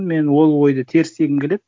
мен ол ойды теріс дегім келеді